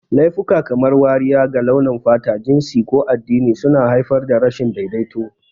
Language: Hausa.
Laifuka kamar wariya ga launin fata, jinsi, ko addini suna haifar da rashin daidaito.